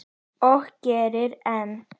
Og gerir enn.